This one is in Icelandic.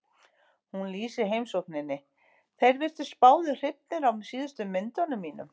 Hún lýsir heimsókninni: Þeir virtust báðir hrifnir af síðustu myndunum mínum.